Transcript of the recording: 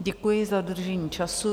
Děkuji za dodržení času.